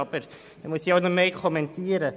Das muss ich nicht weiter kommentieren.